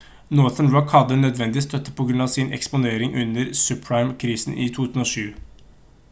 northern rock hadde nødvendig støtte på grunn av sin eksponering under subprime-krisen i 2007